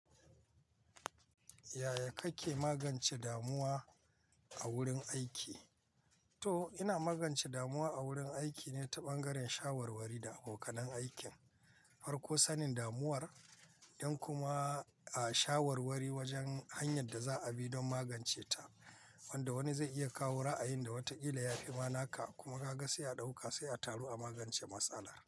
Yaya kake magance damuwa a wurin aiki? To, ina magance damuwa a wurin aikine ta ɓangaren shawarwari da abokan aikin. Farko sanin damuwar don kuma a shawarwari wajen hanyar da za a bi don magance ta. Wanda wani zai iya kawo ra'ayin da wataƙila yafi ma naka, kuma ka ga sai a ɗauka sai a taru a magance matsala.